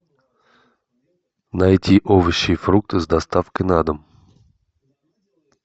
найти овощи и фрукты с доставкой на дом